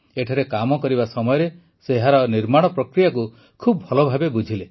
ଏଠାରେ କାମ କରିବା ସମୟରେ ସେ ଏହାର ନିର୍ମାଣ ପ୍ରକ୍ରିୟାକୁ ଖୁବ ଭଲ ଭାବେ ବୁଝିଲେ